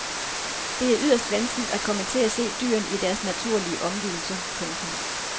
Det er yderst vanskeligt at komme til at se dyrene i deres naturlige omgivelser. punktum